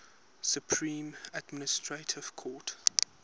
supreme administrative court